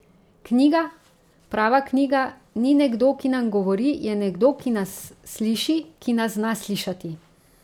Knjiga, prava knjiga, ni nekdo, ki nam govori, je nekdo, ki nas sliši, ki nas zna slišati.